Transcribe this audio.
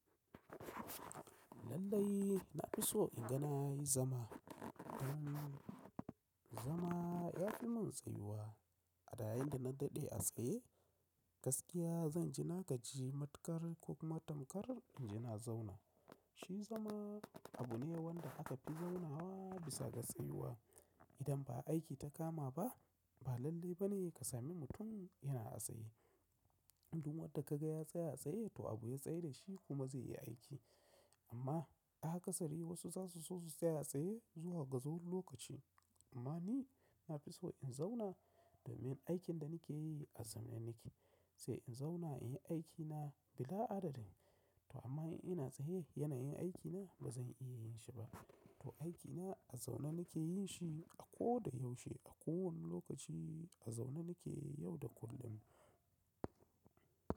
Lallai na fi so in ga na yi zama. Don zama ya fi mun tsayuwa. A yayinda na daɗe a tsaye gaskiya zan ji na gaji matukar ko kuma tamkarar inji na zauna. Shi zama abu ne wanda aka fi zaunawa bisa ga tsayuwa. Idan ba aiki ta kama ba ba lalle ba ne ka sami mutum yana a tsaye. Duk wadda ka ga ya tsaya tsaye to abu ya tsai dashi kuma zai yi aiki. Amma da aka sari wasu zasu so su tsaya tsaye zuwa gajeren lokaci. Amma ni na fi so in zauna domin aikin da nike yi a zaune nike. Sai in zauna in yi aikina bila adadi. To amma in ina tsaye yanayin aikina bazan iya yin shi ba. To aikina a zaune nike yin shi a ko da yaushe a ko wani lokaci a zaune nike yau da kullum.